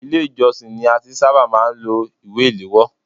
Ilé ìjósìn ni a ti ṣábà máà ń lo ìwé ìléwọ́.